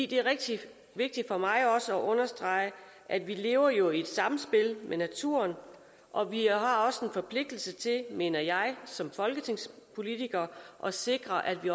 det er rigtig vigtigt for mig at understrege at vi lever i et samspil med naturen og vi har også en forpligtelse til mener jeg som folketingspolitikere at sikre at vi